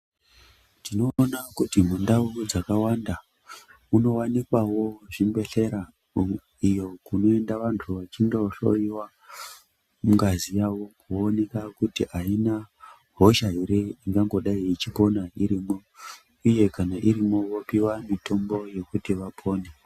Tinoona kuti mundau dzakawanda munowanikawo zvibhehleya iyo kunoenda vandu vachimdohloiwa mungazi yavo yoonekwa kuti amuna hosha ere ingangodai ichipona irimo uye kana irimo vopiwa mutombo yokuti vapone.